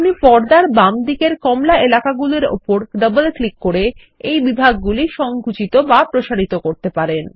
আপনি পর্দার বামদিকের কমলা এলাকাগুলোর ওপর ডবল ক্লিক করে এই বিভাগগুলি সঙ্কুচিত বা প্রসারিত করতে পারেন